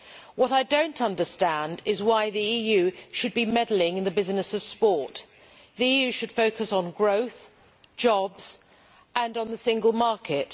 What I do not understand is why the EU should be meddling in the business of sport. The EU should focus on growth, jobs and the single market.